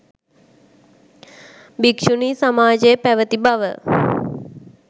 භික්‍ෂුණී සමාජය පැවැති බව